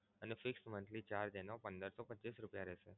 fixed monthly charge એનો પંદર સો પચ્ચીસ રૂપિયા રેહશે.